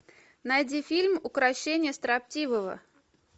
найди фильм укрощение строптивого